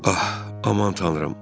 Ax, aman Tanrım.